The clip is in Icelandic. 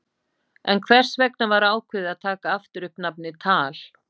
En hvers vegna var ákveðið að taka aftur upp nafnið TAL?